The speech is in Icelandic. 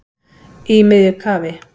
Í miðju kafi